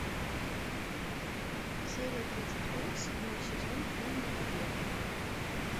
серия тридцать пять седьмой сезон фильм побег